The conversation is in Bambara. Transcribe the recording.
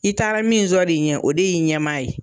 I taara min sɔrɔ i ɲɛ o de y'i ɲɛmaa ye.